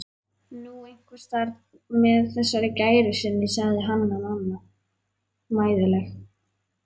Nú, einhvers staðar með þessari gæru sinni, sagði Hanna-Mamma mæðuleg.